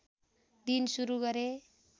दिन सुरू गरे